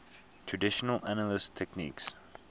traditional analysis techniques